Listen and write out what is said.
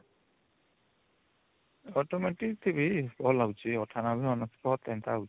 Automotive ରେ ବି ଭଲ ହଉଚି ୯୮ ୯୯ ଏନ୍ତା ହଉଚି